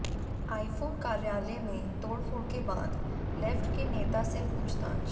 iPhone कार्यालय में तोड़फोड़ के बाद लेफ्ट के नेता से पूछताछ